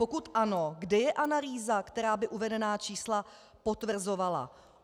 Pokud ano, kde je analýza, která by uvedená čísla potvrzovala?